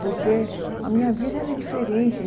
Porque a minha vida era diferente.